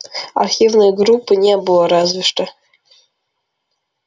архивной группы не было разве что